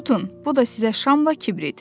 Tutun, bu da sizə şamla kibrit.